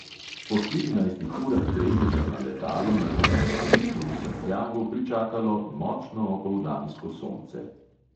Po štirinajstih urah dremeža na letalu nas je na letališču v santiagu pričakalo močno opoldansko sonce.